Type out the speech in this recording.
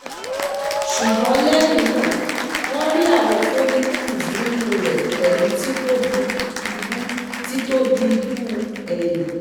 Sugbon lehina, won ri awon follicles ninu re pelu titobi ibu titobi ibu eyin